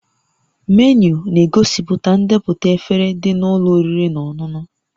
Menu na-egosipụta ndepụta efere dị na ụlọ oriri na ọṅụṅụ